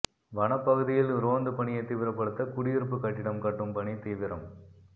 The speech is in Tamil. வனப்பகுதியில் ரோந்து பணியை தீவிரப்படுத்த குடியிருப்பு கட்டிடம் கட்டும் பணி தீவிரம்